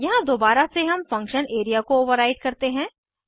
यहाँ दोबारा से हम फंक्शन एरिया को ओवर्राइड करते हैं